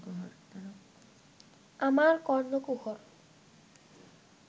আমার কর্ণকুহর